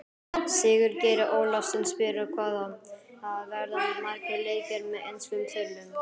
Sigurgeir Ólafsson spyr: Hvað verða margir leikir með enskum þulum?